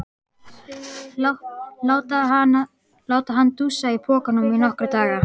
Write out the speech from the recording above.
Láta hann dúsa í pokanum í nokkra daga!